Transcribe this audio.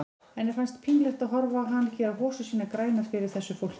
Henni fannst pínlegt að horfa á hann gera hosur sínar grænar fyrir þessu fólki.